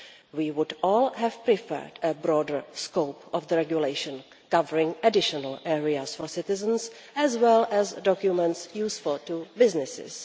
We would all have preferred a broader scope of the regulation, covering additional areas for citizens as well as documents useful to businesses.